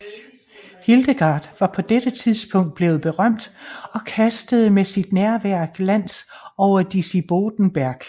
Hildegard var på dette tidspunkt blevet berømt og kastede med sit nærvær glans over Disibodenberg